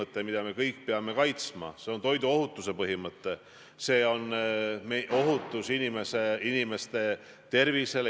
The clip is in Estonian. Ja neid väärtusi, mille ma välistasin, ei ole tänases koalitsioonileppes sees, neid väärtusi, mille oli EKRE esitanud.